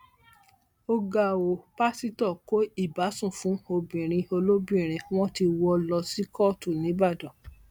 ó ga ọ pásítọ kó ìbásùn fún obìnrin olóbìnrin wọn ti wọ ọ lọ sí kóòtù nìbàdàn